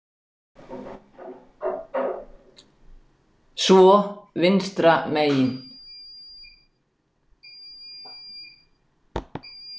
Svo vinstra megin.